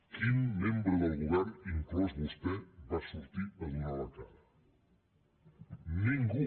quin membre del govern inclòs vostè va sortir a donar la cara ningú